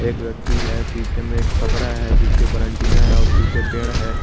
एक व्यक्ति है पीछे में एक छपरा है जिसके ऊपर एंटीना है और पीछे पेड़ है।